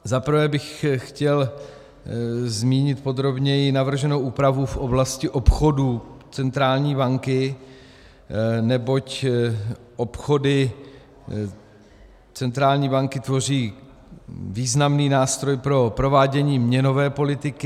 Za prvé bych chtěl zmínit podrobněji navrženou úpravu v oblasti obchodů centrální banky, neboť obchody centrální banky tvoří významný nástroj pro provádění měnové politiky.